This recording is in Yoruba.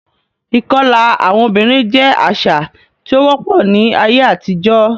Ìkọlà àwọn obìnrin jẹ́ àṣà tí ó wọ́pọ̀ ní ayé àtijọ́.